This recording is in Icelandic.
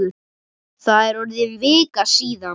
Það er orðin vika síðan.